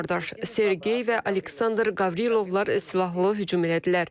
İki qardaş Sergey və Aleksandr Qavrilovlar silahla hücum elədilər.